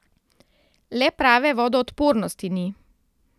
Le prave vodoodpornosti ni.